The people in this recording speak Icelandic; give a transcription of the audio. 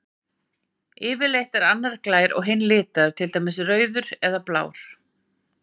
Yfirleitt er annar glær og hinn litaður, til dæmis rauður eða blár.